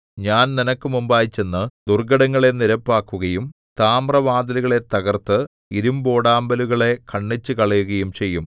ഞാൻ നിനക്ക് മുമ്പായി ചെന്നു ദുർഘടങ്ങളെ നിരപ്പാക്കുകയും താമ്രവാതിലുകളെ തകർത്ത് ഇരിമ്പോടാമ്പലുകളെ ഖണ്ഡിച്ചുകളയുകയും ചെയ്യും